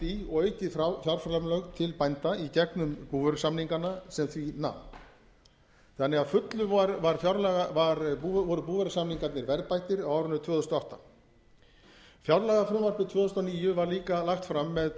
í og aukin fjárframlög til bænda í gegnum búvörusamningana sem því nam þannig að að fullu voru búvörusamningarnir verðbættir á árinu tvö þúsund og átta fjárlagafrumvarpið tvö þúsund og níu var líka lagt fram með